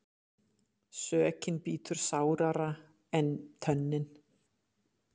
Sökin bítur sárara en tönnin.